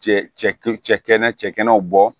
Cɛ cɛ kɛnɛ cɛkɛnɛw bɔ